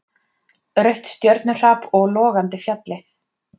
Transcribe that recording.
Rautt stjörnuhrap og logandi fjallið.